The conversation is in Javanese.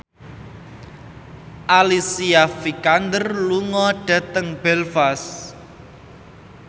Alicia Vikander lunga dhateng Belfast